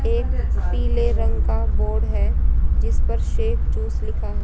एक पीले रंग का बोर्ड है जिस पर सेफ जूस लिखा है।